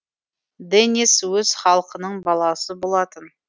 денис өз халқының баласы болатын